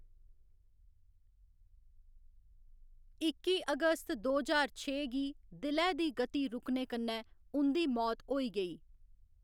इक्की अगस्त दो ज्हार छे गी दिलै दी गति रुकने कन्नै उं'दी मौत होई गेई।